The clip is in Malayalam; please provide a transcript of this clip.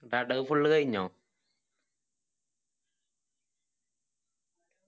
എന്നിട്ട് അടവ് full കയിഞ്ഞോ